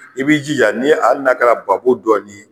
I b'i jija n'i ali n'a kɛra babo dɔɔnin ye.